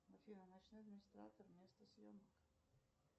афина ночной администратор место съемок